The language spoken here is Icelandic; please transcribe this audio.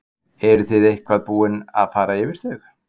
Lillý Valgerður Pétursdóttir: Eruð þið eitthvað búin að fara yfir þau?